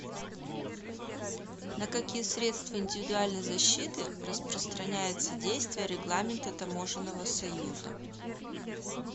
на какие средства индивидуальной защиты распространяется действие регламента таможенного союза